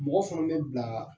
Mɔgɔ fana bɛ bila